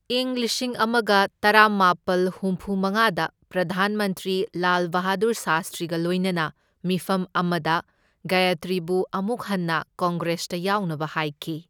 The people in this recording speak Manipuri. ꯢꯪ ꯂꯤꯁꯤꯡ ꯑꯃꯒ ꯇꯔꯥꯃꯥꯄꯜ ꯍꯨꯝꯐꯨꯃꯉꯥꯗ ꯄ꯭ꯔꯙꯥꯟ ꯃꯟꯇ꯭ꯔꯤ ꯂꯥꯜ ꯕꯍꯥꯗꯨꯔ ꯁꯥꯁꯇ꯭ꯔꯤꯒ ꯂꯣꯏꯅꯅ ꯃꯤꯐꯝ ꯑꯃꯗ ꯒꯌꯥꯇ꯭ꯔꯤꯕꯨ ꯑꯃꯨꯛ ꯍꯟꯅ ꯀꯪꯒ꯭ꯔꯦꯁꯇ ꯌꯥꯎꯅꯕ ꯍꯥꯏꯈꯤ꯫